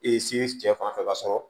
se cɛ fanfɛ ka sɔrɔ